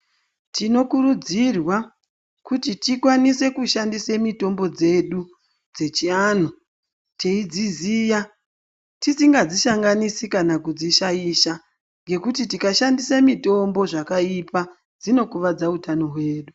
Tinokurudzirwa kuti tikwanise kushandise mitombo dzedu dzechianhu teidziziya, tisingadzi sanganisi kana kudzishaisha. Ngekuti tikadhandise mitombo zvakaipa, dzinokuvadza utano hwedu.